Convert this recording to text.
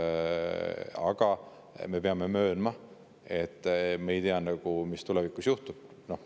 Aga me peame möönma, et me ei tea, mis tulevikus juhtub.